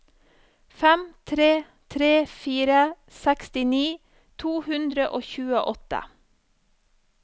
fem tre tre fire sekstini to hundre og tjueåtte